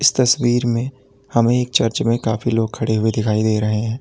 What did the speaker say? इस तस्वीर में हमें चर्च में काफी लोग खड़े हुए दिखाई दे रहे हैं।